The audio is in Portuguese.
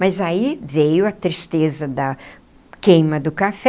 Mas aí veio a tristeza da queima do café...